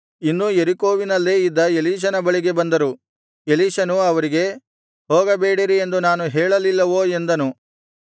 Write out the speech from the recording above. ಇನ್ನೂ ಯೆರಿಕೋವಿನಲ್ಲೇ ಇದ್ದ ಎಲೀಷನ ಬಳಿಗೆ ಬಂದರು ಎಲೀಷನು ಅವರಿಗೆ ಹೋಗಬೇಡಿರಿ ಎಂದು ನಾನು ಹೇಳಲಿಲ್ಲವೋ ಎಂದನು